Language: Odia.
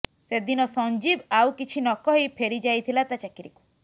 ସେଦିନ ସଞ୍ଜୀବ ଆଉ କିଛି ନକହି ଫେରି ଯାଇଥିଲା ତା ଚାକିରିକୁ